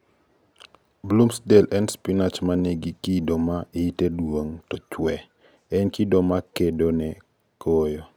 Bloomsdale en spinach ma ni gi kido ma yite duong to chwee- en kido ma kedo ne koyo.